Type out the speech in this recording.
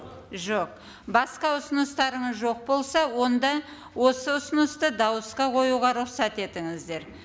жоқ басқа ұсыныстарыңыз жоқ болса онда осы ұсынысты дауысқа қоюға рұқсат етіңіздер